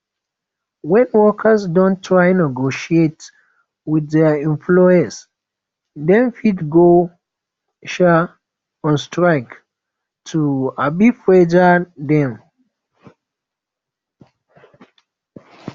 when workers don try negotiate with their employer dem fit go um on strike to um pressure dem